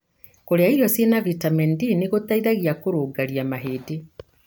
Kũria irio cĩina vitamin D nĩgũteithagia kũrũngaria mahĩndĩ.